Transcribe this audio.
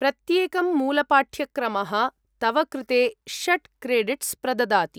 प्रत्येकं मूलपाठ्यक्रमः तव कृते षट् क्रेडिट्स् प्रददाति।